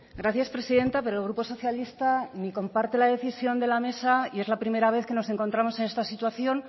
gracias presidenta pero el grupo socialista ni comparte la decisión de la mesa y es la primera vez que nos encontramos en esta situación